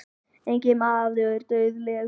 Enginn maður er dauðlegur.